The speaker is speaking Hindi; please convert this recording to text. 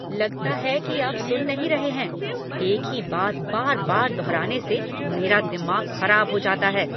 लगता है कि आप सुन नहीं रहे हैं। एक ही बात बार बार दोहराने से मेरा दिमाग खराब हो जाता है।